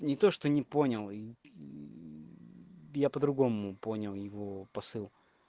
не то что не понял и я по-другому понял его посыл